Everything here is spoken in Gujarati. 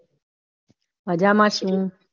મજામાં છી.